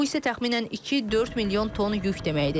Bu isə təxminən 2-4 milyon ton yük deməkdir.